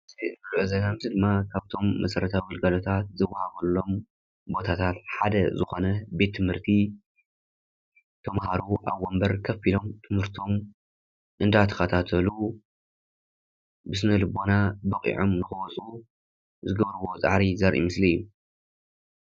እዚ ንሪኦ ዘለና ምስሊ ድማ ካብቶም መሰረታዊ ኣገልግሎታት ዝወሃበሎም ቦታታት ሓደ ዝኾነ ቤት ትምህርቲ ተማሃሮ ኣብ ወንበር ኮፍ ኢሎም ትምህርቶም እንዳተኸታተሉ ብስነ ልቦና በቒዑም ንኽወጽኡ ዝገብርዎ ፃዕሪ ዘርኢ ምስሊ እዩ።